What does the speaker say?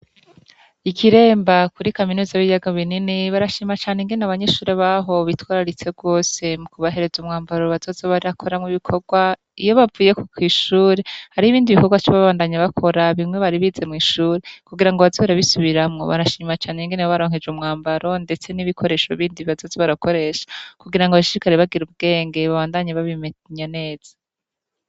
I Kiremba kuri kaminuza y’ibiyaga binini barashima cane ingene abanyeshure baho bitwararitse gose mukubahereza umwambaro bazoza barakoramwo ibikorwa , iyo bavuye kw’ishure harih’ibindi bikorwa baca babandanya bakora, bimwe bari bize mw’ishure kugirango baze barabisubiramwo. Barashima cane ingene babaronkeje umwambaro ndetse n’ibikoresho bindi bazoza barakoresha kugirango bashishikare bagir’ubwenge , babandanye babimenya neza.